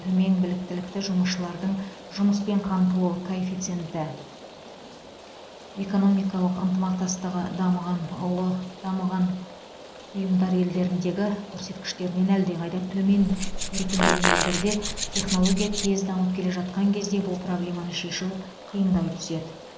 төмен біліктілікті жұмысшылардың жұмыспен қамтылу коэффициенті экономикалық ынтымақтастығы дамыған ұлыдамыған ұйымдар елдеріндегі көрсеткіштерінен әлдеқайда төмен өркендеген елдерде технология тез дамып келе жатқан кезде бұл проблеманы шешу қиындай түседі